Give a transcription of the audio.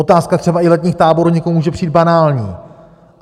Otázka třeba i letních táborů někomu může přijít banální.